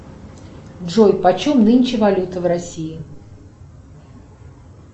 джой почем нынче валюта в россии